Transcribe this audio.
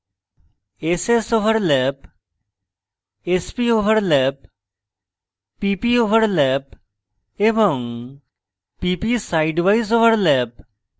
ss overlap sp overlap pp overlap এবং pp sidewise overlap